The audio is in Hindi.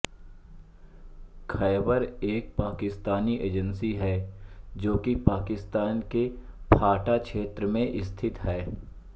खैबर एक पाकिस्तानी एजेंसी है जो कि पाकिस्तान के फ़ाटा क्षेत्र में स्थित है